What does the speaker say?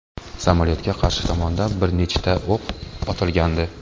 Samolyotgaa tashqi tomondan bir nechta o‘q otilgandi.